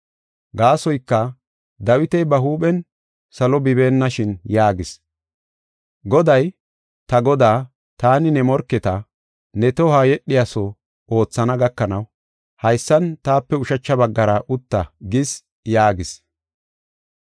Gaasoyka, Dawiti ba huuphen salo bibeenna shin yaagis. “Goday, ta Godaa, ‘Taani ne morketa ne tohoy yedhiyaso oothana gakanaw haysan, taape ushacha baggara utta’ ” gis. yaagis.